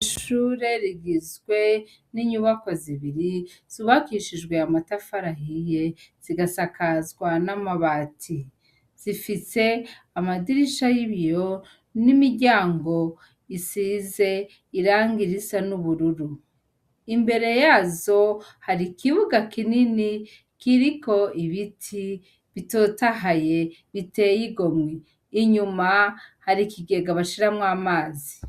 Ishure rigizwe n'inyubakwa zibiri zubakishijwe amatafari ahiye zigasakazwa n'amabati, zifise amadirisha yibiyo n'imiryango isize irangi risa n'ubururu, imbere Yazo hari ikibuga kinini kiriko ibiti bitotahaye biteye igomwe, inyuma hari ikigega bashiramwo amazi.